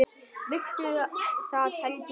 Viltu það, Helgi minn?